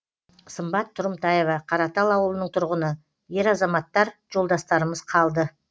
сымбат тұрымтаева қаратал ауылының тұрғыны ер азаматтар жолдастарымыз қалды